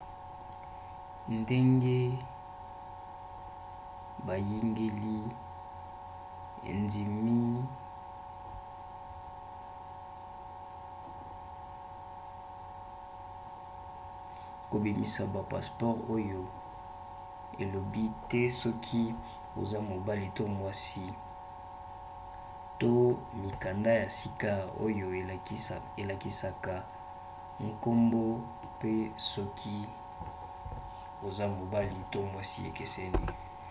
ndenge biyangeli endimi kobimisa ba passeport oyo elobi te soki oza mobali to mwasi x to mikanda ya sika oyo elakisaka nkombo pe soki oza mobali to mwasi ekeseni